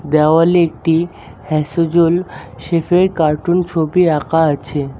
দেওয়ালে একটি হ্যাসোজোল শেফের কার্টুন ছবি আঁকা আছে।